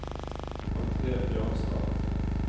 Andre Bjørnstad